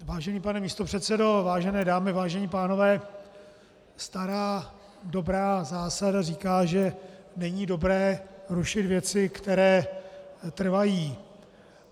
Vážený pane místopředsedo, vážené dámy, vážení pánové, stará dobrá zásada říká, že není dobré rušit věci, které trvají.